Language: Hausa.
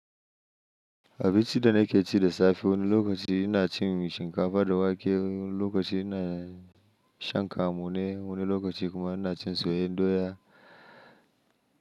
Abinci da na ke ci da safe wani lokaci ina cin shinkafa da wake, wani lokaci ina shan kamune, wani lokaci kuma ina cin soyayyen doya.